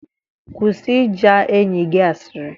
Kwụsị ịja enyi gị asịrị